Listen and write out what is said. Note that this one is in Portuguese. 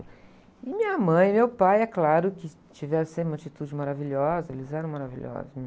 E minha mãe e meu pai, é claro que tiveram sempre uma atitude maravilhosa, eles eram maravilhosos.